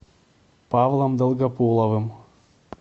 павлом долгополовым